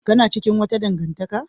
Kana cikin wata dangantaka?